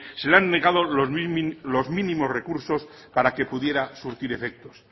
se le han negado los mínimos recursos para que pudiera surtir efectos